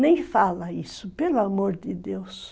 Nem fala isso, pelo amor de Deus.